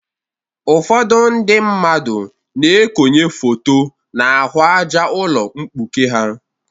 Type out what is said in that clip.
Ụfọdụ ndị mmadụ na-ekonye foto n'ahụ àjá ụlọ mkpuke ha.